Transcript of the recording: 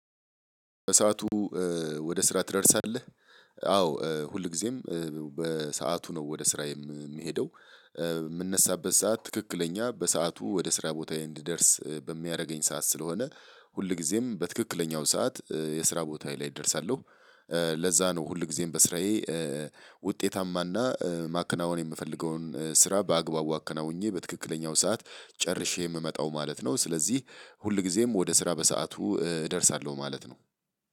በሰአቱ ወደ ስራ ትደርሳለህ አዎ ሁልጊዜም በሰአቱ ነው ወደ ስራ የምሄደው እምነሳበት ሰዓት ትክክለኛ በሰአቱ ወደ ስራ ቦታዬ እንድደርስ በሚያደርገኝ ሰዓት ስለሆነ ሁልጊዜም በትክክለኛው ሰዓት የስራ ቦታዬ ላይ እደርሳለሁ ለዛ ነው ሁልጊዜም በስራዬ ውጤታማና ማከናወን የምፈልገውን ስራ በአግባቡ አከናውኜ በትክክለኛው ሰዓት ጨርሼ የምመጣው ማለት ነው። ስለዚህ ሁል ጊዜም ወደ ስራ በሰአቱ እደርሳለሁ ማለት ነው